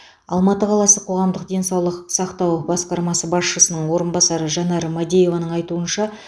алматы қаласы қоғамдық денсаулық сақтау басқармасы басшысының орынбасары жанар мадееваның айтуынша